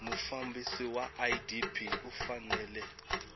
mufambisi wa idp u fanele